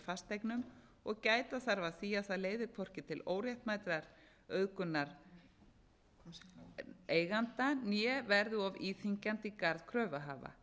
fasteignum og gæta þarf að því að það leiði hvorki til óréttmætrar auðgunar eiganda né verði of íþyngjandi í garð kröfuhafa